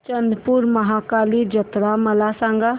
चंद्रपूर महाकाली जत्रा मला सांग